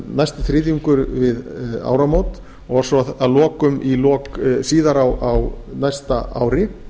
næsti þriðjungur við áramót og svo að lok síðar á næsta ári